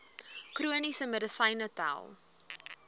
chroniese medisyne tel